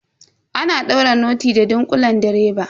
Ana daure noti da ɗunkulen direba.